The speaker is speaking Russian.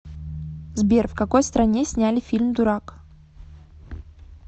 сбер в какои стране сняли фильм дурак